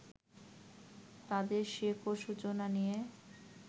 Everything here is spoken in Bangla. তাঁদের শেকড় সূচনা নিয়ে